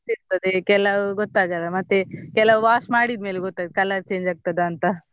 ಕೆಲವು ಗೊತ್ತಾಗಲ್ಲ ಮತ್ತೆ ಕೆಲವು wash ಮಾಡಿದ್ ಮೇಲೆ ಗೊತ್ತಾಗ್ತದೆ color change ಆಗ್ತದ ಅಂತ.